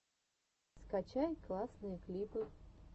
скачай классные клипы